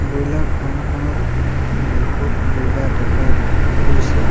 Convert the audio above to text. Broiler farm খনত বহুত boiler দেখা গৈছে।